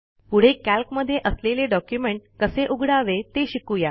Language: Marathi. पुढे कॅल्क मध्ये असलेले डॉक्युमेंट कसे उघडावे ते शिकू या